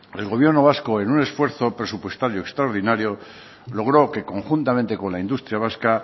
el gobierno vasco en un esfuerzo presupuestario extraordinario logró que conjuntamente con la industria vasca